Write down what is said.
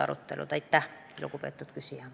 Arto Aas, palun!